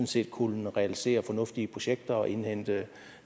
set kunne realisere fornuftige projekter og indhente